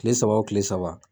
Kile saba o kile saba.